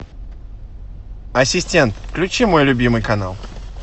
ассистент включи мой любимый канал